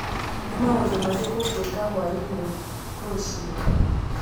Nĩ maũndũ marĩkũ ngwĩka hwaĩ-inĩ rũciũ?